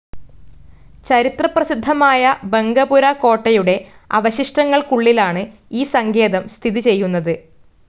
ചരിത്രപ്രസിദ്ധമായ ബങ്കപുര കോട്ടയുടെ അവശിഷ്ടങ്ങൾക്കുള്ളിലാണ് ഈ സങ്കേതം സ്ഥിതിചെയ്യുന്നത്.